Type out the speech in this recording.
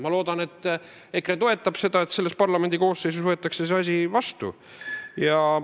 Ma loodan, et EKRE toetab seda, et selles parlamendi koosseisus võetakse see seadus vastu.